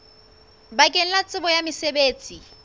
bakeng la tsebo ya mosebetsi